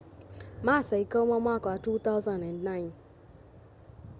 masa ikaũma mwaka wa 2009